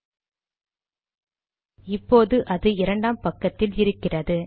சரி இப்போது அது இரண்டாம் பக்கத்தில் இருக்கிறது